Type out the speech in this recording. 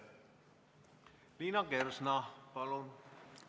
Liina Kersna, palun!